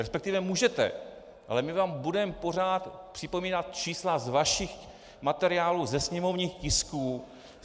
Respektive můžete, ale my vám budeme pořád připomínat čísla z vašich materiálů, ze sněmovních tisků.